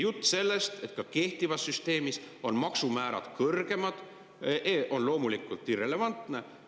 Jutt sellest, et ka kehtivas süsteemis on maksumäärad kõrgemad, on loomulikult irrelevantne.